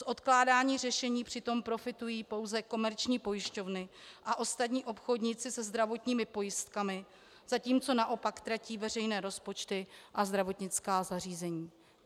Z odkládání řešení přitom profitují pouze komerční pojišťovny a ostatní obchodníci se zdravotními pojistkami, zatímco naopak tratí veřejné rozpočty a zdravotnická zařízení.